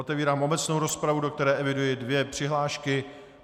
Otevírám obecnou rozpravu, do které eviduji dvě přihlášky.